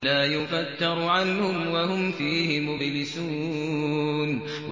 لَا يُفَتَّرُ عَنْهُمْ وَهُمْ فِيهِ مُبْلِسُونَ